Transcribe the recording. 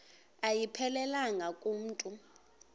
ayiphelelanga ku mntu